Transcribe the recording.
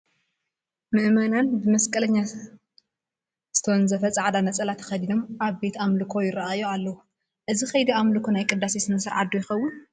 ምእመናን ብመስቀለኛ ዝተወንዘፈ ፃዕዳ ነፀላ ተኸዲኖም ኣብ ቤተ ኣምልኮ ይርአዩ ኣለዉ፡፡ እዚ ከይዲ ኣምልኮ ናይ ቅዳሴ ስነ ስርዓት ዶ ይኸውን?